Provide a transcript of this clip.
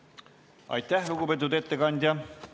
Aitäh, lugupeetud ettekandja!